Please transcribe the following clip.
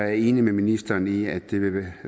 jeg enig med ministeren i at det vil